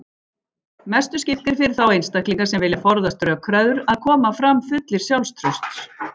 Mestu skiptir fyrir þá einstaklinga sem vilja forðast rökræður að koma fram fullir sjálfstrausts.